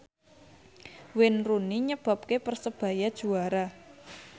Wayne Rooney nyebabke Persebaya juara